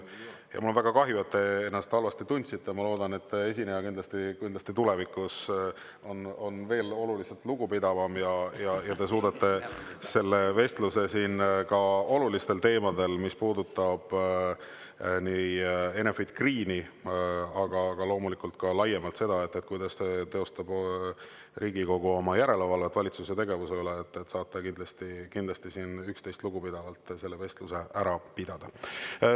Mul on väga kahju, et te ennast halvasti tundsite, ja ma loodan, et esineja on tulevikus oluliselt lugupidavam ja te suudate siin selle olulistel teemadel vestluse, mis puudutab nii Enefit Greeni kui loomulikult ka laiemalt seda, kuidas teostab Riigikogu oma järelevalvet valitsuse tegevuse üle, üksteisest lugupidavalt ära pidada.